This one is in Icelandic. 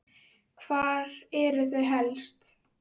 Hvar eru þau helst?